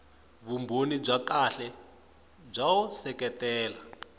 vumbhoni bya kahle byo seketela